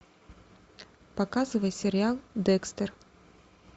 показывай сериал декстер